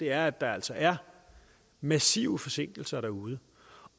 er at der altså er massive forsinkelser derude